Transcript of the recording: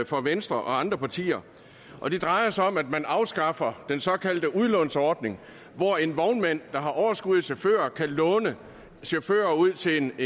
for venstre og andre partier og det drejer sig om at man afskaffer den såkaldte udlånsordning hvor en vognmand der har overskud af chauffører kan låne chauffører ud til en